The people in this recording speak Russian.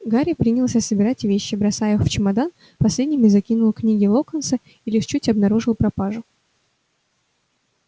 гарри принялся собирать вещи бросая их в чемодан последними закинул книги локонса и лишь чуть обнаружил пропажу